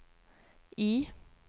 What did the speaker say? I